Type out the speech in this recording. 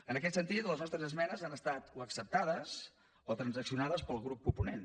en aquest sentit les nostres esmenes han estat o acceptades o transaccionades pel grup proponent